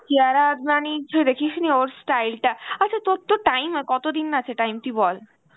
কিয়ারা আডবাণীর দেখিস নি ওর style টা, আচ্ছা তোর time কতদিন আছে time তুই বল